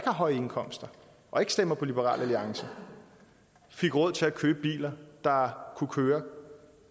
høje indkomster og ikke stemmer på liberal alliance fik råd til at købe biler der kunne køre